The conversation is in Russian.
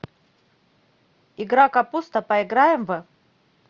игра капуста поиграем в